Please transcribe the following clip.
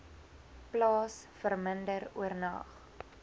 plaas verminder oornag